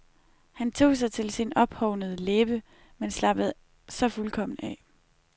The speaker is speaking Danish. Han tog sig til sin ophovnede læbe, men slappede så fuldkommen af.